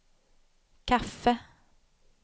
kaffe